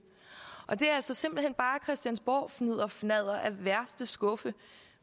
er altså simpelt hen bare christiansborgfnidderfnadder af værste skuffe